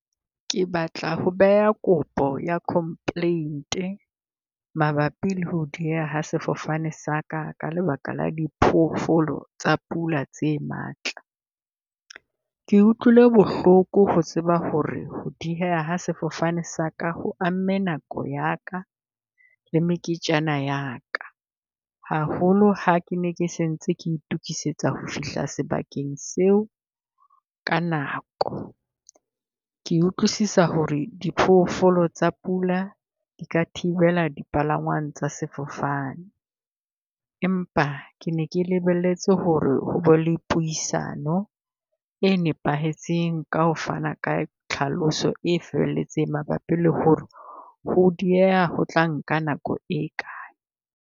Ke batla ho beha kopo ya complaint-e mabapi le ho dieha ha sefofane sa ka, ka lebaka la diphoofolo tsa pula tse matla. Ke utlwile bohloko ho tseba ho re ho dieha ha sefofane sa ka ho amme nako ya ka le meketjana ya ka. Haholo ha ke ne ke sentse ke itokisetsa ho fihla sebakeng seo ka nako. Ke utlwisisa ho re diphoofolo tsa pula di ka thibela di palangwang tsa sefofane. Empa ke ne ke lebelletse ho re ho be le puisano e nepahetseng ka ho fana ka tlhaloso e felletseng mabapi le ho re ho dieha ho tla nka nako e kae.